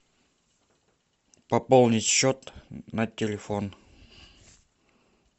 пополнить счет на телефон